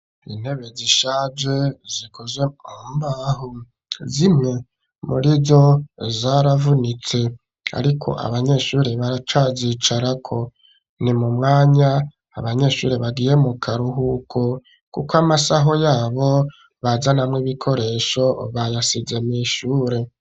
Intebe zishaje zikozwe umbahu zimwe muri zo zaravunitse, ariko abanyeshuri baracazicarako ni mu mwanya abanyeshuri bagiye mu karuhuko, kuko amasaho yabo bazanamwo ibikoresho bayasize mw'ishure.